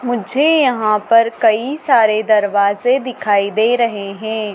मुझे यहां पर कई सारे दरवाजे दिखाई दे रहे हैं।